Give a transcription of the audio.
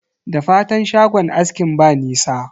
Da fatan shagon askin ba nisa?